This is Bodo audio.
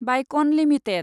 बायकन लिमिटेड